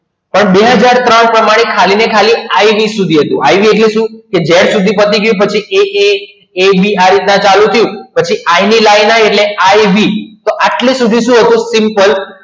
બે હજાર ત્રણ પ્રમાણે ખાલી ને ખાલી ખાલી ને ખાલી ibib સુધી તો આટલે સુધી શું હતું simple